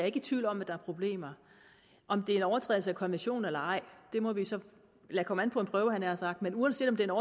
ikke i tvivl om at der er problemer om det er en overtrædelse af konventionen eller ej må vi så lade komme an på en prøve nær sagt men uanset om det er